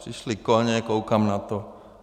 Přišli koně, koukám na to.